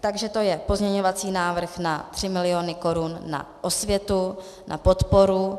Takže to je pozměňovací návrh na 3 miliony korun na osvětu, na podporu